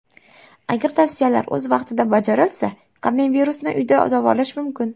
Agar tavsiyalar o‘z vaqtida bajarilsa, koronavirusni uyda davolash mumkin.